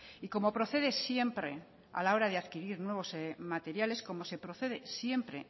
y como procede siempre a la hora de adquirir nuevos materiales como se procede siempre